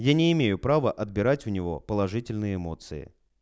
я не имею право отбирать у него положительные эмоции